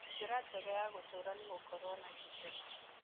Njĩra njega ya gũtũũra nĩ gũkorũo na gĩkeno.